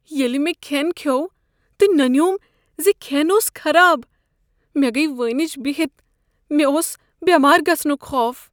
ییٚلہ مےٚ کھین کھیوٚو تہٕ ننیوم ز یہ کھین اوس خراب، مے گیہ وٲنج بہتھ۔ مےٚ اوس بیمار گژھنک خوف۔